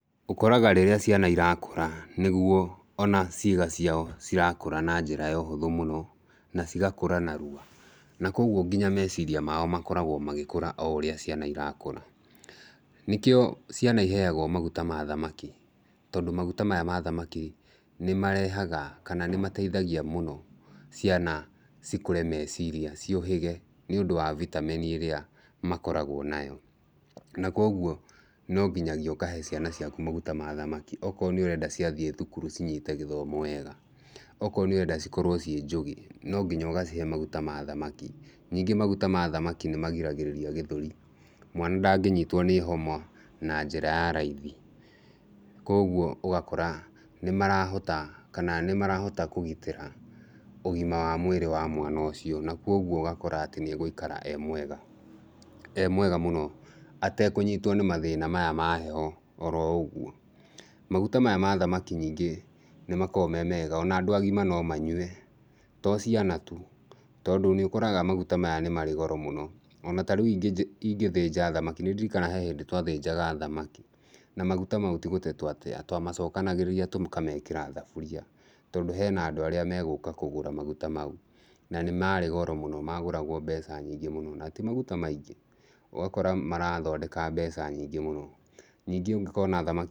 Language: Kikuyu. Ũkoraga rĩrĩa ciana ĩrakũra nĩguo ona ciĩga ciao cirakũra na njĩra ya ũhũthũ mũno na cigakũra narua. Na kũoguo nginya meeciria maao makoraguo magĩkũra o ũrĩa ciana irakũra. Nĩkĩo ciana ĩheagwo maguta ma thamaki, tondũ maguta maya ma thamaki nĩ marehaga, kana nĩmateithagia mũno ciana cikũre meciria, ciũhĩge, nĩ ũndu wa bitameni ĩrĩa makoragwo nayo, Na koguo no nginyagia ũkahe ciana ciaku maguta ma thamaki o korwo nĩ ũrenda ciathiĩ thukuru cinyiite gĩthomo wega. O korwo nĩ ũrenda cikorwo ciĩ njũgĩ, no nginya ũgacihe maguta ma thamaki. Ningĩ maguta ma thamaki nĩmagiragĩrĩria gĩthũri, mwana ndangĩyiitwo nĩ homa na njĩra ya raithi. Koguo ũgakora nĩmarahota kana nĩmarahota kũgĩtĩra ũgima wa mwĩrĩ wa mwana ũcio, na koguo ũgakora atĩ nĩegũikara e mwega mũno, atekũnyiitwo nĩ mathĩna maya ma heho o ũguo. Maguta maya ma thamaki ningĩ nĩ makoragwo me mega ona andũ agima no manyue, to ciana tu. Tondũ nĩũkoraga maguta maya nĩ marĩ goro mũno. O na ta rĩu ingĩthĩnja thamaki, nĩ ndirikanaga he hindi twathĩnjaga thamaki, na maguta mau ti gũte twateaga twamacokanagegeria tũkamekĩra thaburia. Tondũ hena andũ arĩa megũka kũgũra maguta mau. Na nĩ marĩ goro mũno, magũragwo mbeca nyingĩ mũno na ti maguta maingĩ. Ũgakora marathondeka mbeca nyingĩ mũno.